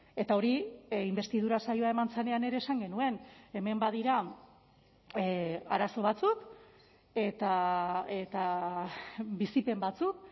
eta hori inbestidura saioa eman zenean ere esan genuen hemen badira arazo batzuk eta bizipen batzuk